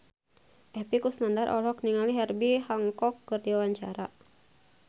Epy Kusnandar olohok ningali Herbie Hancock keur diwawancara